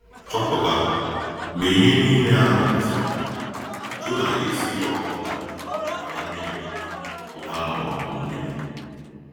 Chọpụta — mgbe ihe niile ahụ gasịrị, Jona esighị ọbụna gbaa mmiri pụta n’ọdụ mmiri!